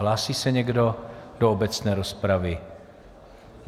Hlásí se někdo do obecné rozpravy?